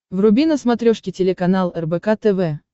вруби на смотрешке телеканал рбк тв